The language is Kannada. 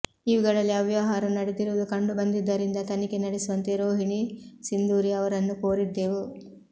ಇವುಗಳಲ್ಲಿ ಅವ್ಯವಹಾರ ನಡೆದಿರುವುದು ಕಂಡು ಬಂದಿದ್ದರಿಂದ ತನಿಖೆ ನಡೆಸುವಂತೆ ರೋಹಿಣಿ ಸಿಂಧೂರಿ ಅವರನ್ನು ಕೋರಿದ್ದೆವು